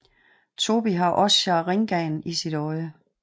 Tobi har også sharinganen i sit øje